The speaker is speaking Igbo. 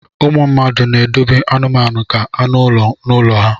ụmụ mmadụ na-edobe anụmanụ ka anụ ụlọ n'ụlọ ha